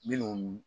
Minnu